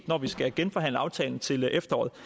når vi skal genforhandle aftalen til efteråret